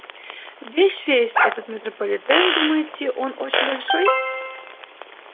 весь весь этот метрополитен думаете он очень большой